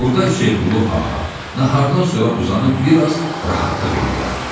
Burda Hüseynqulu Ağa nahardan sonra uzanıb bir az rahatlıq eləyərdi.